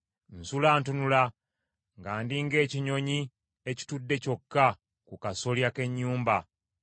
Nsula ntunula, nga ndi ng’ekinyonyi ekitudde kyokka ku kasolya k’ennyumba.